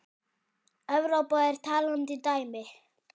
Evrópa er talandi dæmi.